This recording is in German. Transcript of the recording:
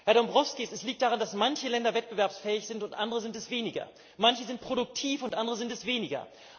Herr Dombrovskis, es liegt daran, dass manche Länder wettbewerbsfähig sind und andere sind es weniger, manche sind produktiv und andere sind es weniger.